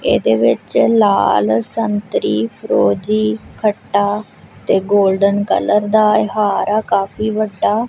ਇਹਦੇ ਵਿੱਚ ਲਾਲ ਸੰਤਰੀ ਫਰੋਜੀ ਖੱਟਾ ਤੇ ਗੋਲਡਨ ਕਲਰ ਦਾ ਹਾਰ ਆ ਕਾਫੀ ਵੱਡਾ।